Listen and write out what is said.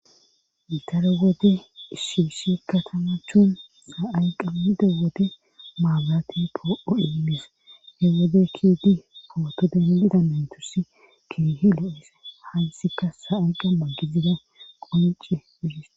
Daro wode issi issi katamathin sa7ay qammida wode mabiraate poouo immees he wode keyidi pooto denddida naytussi keehi louiza hayssika sa7ay qamma gidiza qoncce